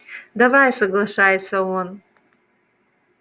давай соглашается он